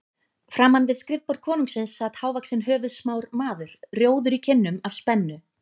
Framan við skrifborð konungsins sat hávaxinn höfuðsmár maður, rjóður í kinnum af spennu.